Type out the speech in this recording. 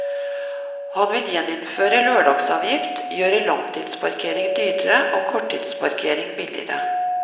Han vil gjeninnføre lørdagsavgift, gjøre langtidsparkering dyrere og korttidsparkering billigere.